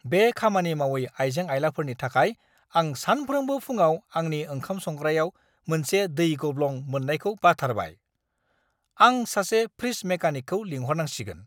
बे खामानि मावै आइजें-आइलाफोरनि थाखाय आं सानफ्रोमबो फुंआव आंनि ओंखाम संग्रायाव मोनसे दै गब्लं मोननायखौ बाथारबाय! आं सासे फ्रिज मेकानिकखौ लिंहरनांसिगोन!